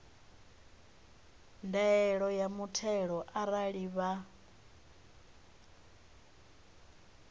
ndaela ya muthelo arali vha